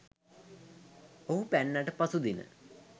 ඔහු පැන්නට පසු දින